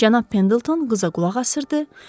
Cənab Pendelton qıza qulaq asırdı.